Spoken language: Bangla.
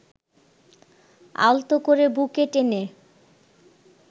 আলতো করে বুকে টেনে